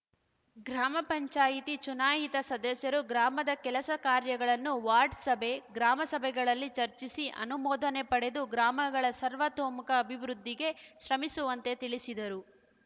ಗ್ರಾಮ ಪಂಚಾಯತಿ ಚುನಾಯಿತ ಸದಸ್ಯರು ಗ್ರಾಮದ ಕೆಲಸ ಕಾರ್ಯಗಳನ್ನು ವಾರ್ಡ್‌ ಸಭೆ ಗ್ರಾಮಸಭೆಗಳಲ್ಲಿ ಚರ್ಚಿಸಿ ಅನುಮೋದನೆ ಪಡೆದು ಗ್ರಾಮಗಳ ಸರ್ವತೋಮುಖ ಅಭಿವೃದ್ಧಿಗೆ ಶ್ರಮಿಸುವಂತೆ ತಿಳಿಸಿದರು